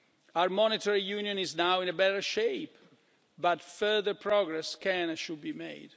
Our monetary union is now in a better shape, but further progress can, and should, be